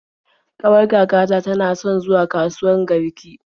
Ƙawar kakata tana son zuwa kasuwat Garki.